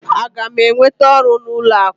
Aga m enweta ọrụ n'ụlọ akụ?